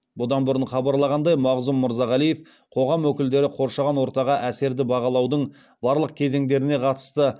бұдан бұрын хабарлағандай мағзұм мырзағалиев қоғам өкілдері қоршаған ортаға әсерді бағалаудың барлық кезеңдеріне қатысты